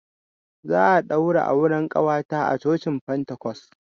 Za a ɗaura auren ƙawata a cocin pentacos.